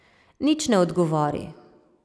Nič ne odgovori.